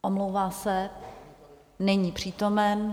Omlouvám se, není přítomen.